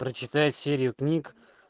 прочитать серию книг